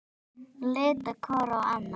Litu hvor á annan.